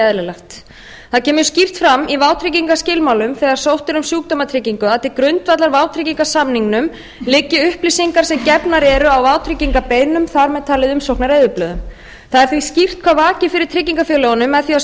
eðlilegt það kemur skýrt fram í vátryggingaskilmálum þegar sótt er um sjúkdómatryggingu að til grundvallar vátryggingarsamningnum liggi upplýsingar sem gefnar eru á vátryggingarbeiðnum þar með talið umsóknareyðublöðum það er því skýrt hvað vakir fyrir tryggingafélögunum með því að